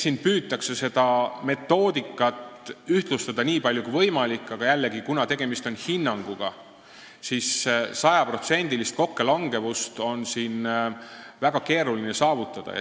Siin püütakse metoodikat ühtlustada nii palju kui võimalik, aga jällegi, kuna tegemist on hinnanguga, siis on sajaprotsendilist kokkulangevust väga keeruline saavutada.